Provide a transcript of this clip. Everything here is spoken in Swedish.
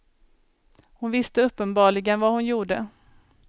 Hon visste uppenbarligen vad hon gjorde.